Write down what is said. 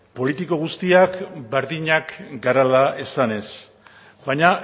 politiko guztiak berdinak garela esanez baina